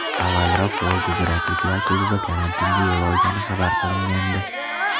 Avvalroq volgogradliklar klubi karantinga yo‘l olgani xabar qilingandi.